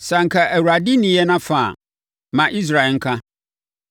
Sɛ anka Awurade nni yɛn afa a, ma Israel nka.